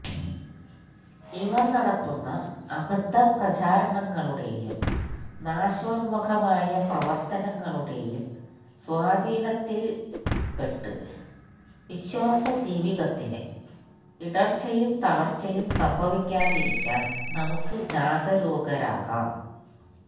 ഇവര് നടത്തുന്ന അബദ്ധപ്രചാരണങ്ങളുടേയും നാശോന്മുഖമായ പ്രവര്ത്തനങ്ങളുടേയും സ്വാധീനത്തില്പ്പെട്ട് വിശ്വാസജീവിതത്തിന് ഇടര്ച്ചയും തളര്ച്ചയും സംഭവിക്കാതിരിക്കാന് നമുക്ക് ജാഗരൂകരാകാം